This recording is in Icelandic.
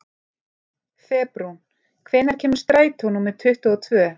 Febrún, hvenær kemur strætó númer tuttugu og tvö?